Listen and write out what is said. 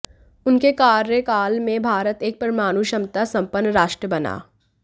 उनके कार्यकाल में भारत एक परमाणु क्षमता संपन्न राष्ट्र बना